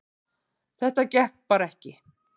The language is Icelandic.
Þetta gekk bara ekki